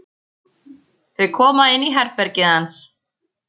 Þau koma inn í herbergið hans.